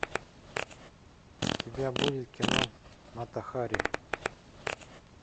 у тебя будет кино мата хари